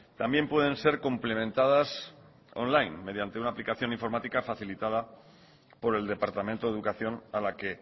también pueden ser complementadas online mediante una aplicación informática facilitada por el departamento de educación a la que